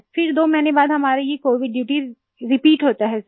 फिर 2 महीने बाद हमारी ये कोविड ड्यूटीज रिपीट होता है सर